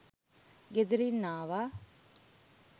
ගෙදරින් ආවා